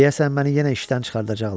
Deyəsən məni yenə işdən çıxardacaqlar.